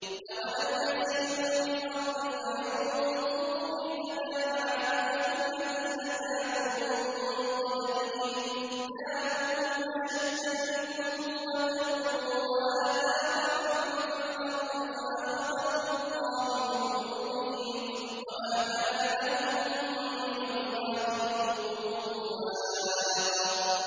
۞ أَوَلَمْ يَسِيرُوا فِي الْأَرْضِ فَيَنظُرُوا كَيْفَ كَانَ عَاقِبَةُ الَّذِينَ كَانُوا مِن قَبْلِهِمْ ۚ كَانُوا هُمْ أَشَدَّ مِنْهُمْ قُوَّةً وَآثَارًا فِي الْأَرْضِ فَأَخَذَهُمُ اللَّهُ بِذُنُوبِهِمْ وَمَا كَانَ لَهُم مِّنَ اللَّهِ مِن وَاقٍ